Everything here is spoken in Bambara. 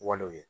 Walew ye